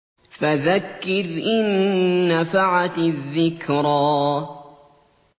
فَذَكِّرْ إِن نَّفَعَتِ الذِّكْرَىٰ